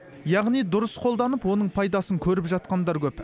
яғни дұрыс қолданып оның пайдасын көріп жатқандар көп